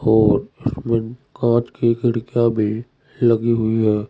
और इसमें कांच की खिड़कियां भी लगी हुई है।